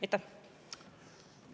Aitäh!